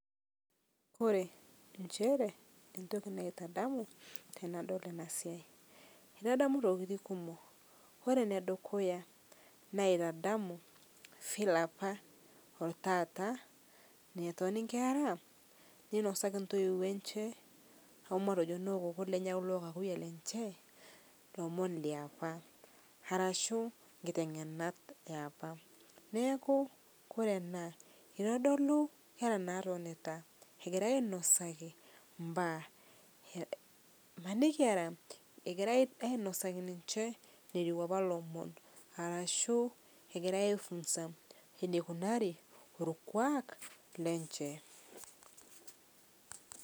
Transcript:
Ore nchere entoki naitadamu tenadol ena siai. Itadamu intokitin kumok ore ene dukuya naitadamu file apa taata netoni inkera ninosaki intoiwuo eche omatejo noo kooko lenye loo kakuyia lenche lomo liapa arashu inketeng'enat ee apa neeku ore ena itodolu inkera natonita egirai ainosaki ibaa. Imanaki egira ainosaki ninche enetiu apa ilomon arashu egurai ai funzs eneikunari orkuak lenche.